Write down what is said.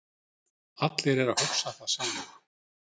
Allir eru að hugsa það sama